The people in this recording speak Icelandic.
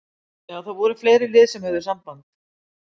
Já það voru fleiri lið sem að höfðu samband.